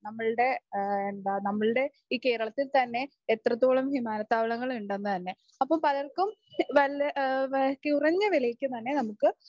നമ്മളുടെ എന്താ നമ്മളുടെ ഈ കേരളത്തിൽ തന്നെ എത്രത്തോളം വിമാനത്താവളങ്ങൾ ഉണ്ടെന്ന് തന്നെ. അപ്പം പലർക്കും വള, കുറഞ്ഞ വിലക്ക് തന്നെ നമുക്ക്